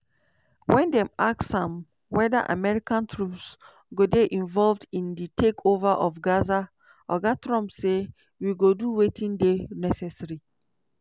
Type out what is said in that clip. wen dem ask am weda american troops go dey involved in di take over of gaza oga trump say "we go do wetin dey necessary".